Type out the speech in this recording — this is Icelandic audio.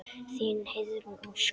Þín, Heiðrún Ósk.